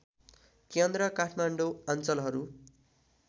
केन्द्र काठमाडौँ अञ्चलहरू